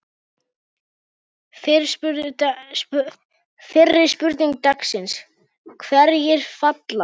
Fyrri spurning dagsins: Hverjir falla?